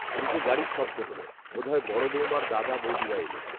নিচে গাড়ির শব্দ হলো, বোধ হয় বড় বৌমার দাদা, বৌদিরা এলো